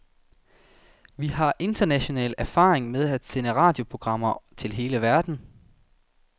Vi har international erfaring med at sende radioprogrammer til hele verden.